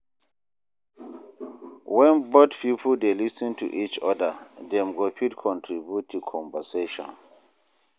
When both pipo dey lis ten to each oda, dem go fit contribute to conversation